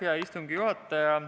Hea istungi juhataja!